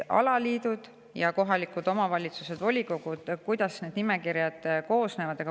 Alaliidud ja kohalikud omavalitsused, nende volikogud, millest need nimekirjad koosnevad.